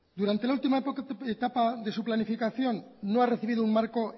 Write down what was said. durante la última etapa de su planificación no ha recibido un marco